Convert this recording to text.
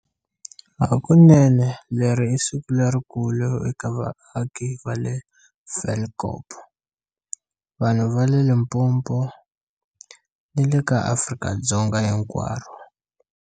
Hakunene leri i siku lerikulu eka vaaki va le Tafelkop, vanhu va le Limpo po, ni le ka Afrika-Dzonga hinkwaro.